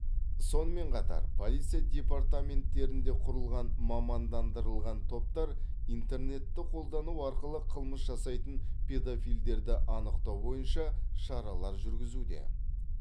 сонымен қатар полиция департаменттерінде құрылған мамандандырылған топтар интернетті қолдану арқылы қылмыс жасайтын педофилдерді анықтау бойынша шаралар жүргізуде